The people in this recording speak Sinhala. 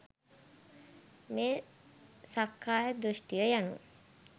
මේ සක්කාය දෘෂ්ටිය යනු